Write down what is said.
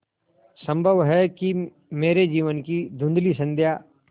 संभव है कि मेरे जीवन की धँुधली संध्या